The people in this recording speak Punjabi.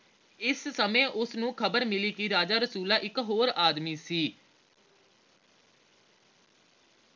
ਇਸ ਸਮੇਂ ਉਸਨੂੰ ਖ਼ਬਰ ਮਿਲੀ ਕੇ ਰਾਜਾ ਰਸੂਲਾਂ ਇਕ ਹੋਰ ਆਦਮੀ ਸੀ